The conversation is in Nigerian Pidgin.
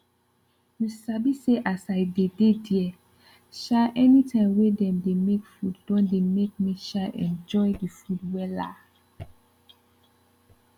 you sabi say as i dey dey there um anytime wey dem dey make food don dey make me um enjoy the food wella